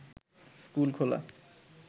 school খোলা